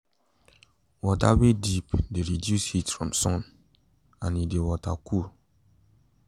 water weey deep de reduce heat from sun and e de water cool